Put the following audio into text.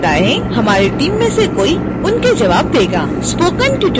spoken tutorial forum इस tutorial पर आधारित विशिष्ट प्रश्नों के लिए है